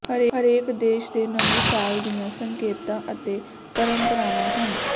ਹਰੇਕ ਦੇਸ਼ ਦੇ ਨਵੇਂ ਸਾਲ ਦੀਆਂ ਸੰਕੇਤਾਂ ਅਤੇ ਪਰੰਪਰਾਵਾਂ ਹਨ